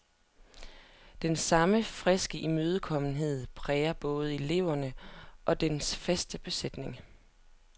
Den samme friske imødekommenhed prægede både eleverne og den faste besætning.